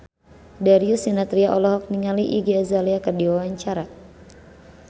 Darius Sinathrya olohok ningali Iggy Azalea keur diwawancara